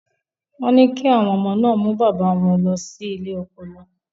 Wọ́n ní kí àwọn ọmọ náà mú bàbá wọn lọ sí ilé ọpọlọ.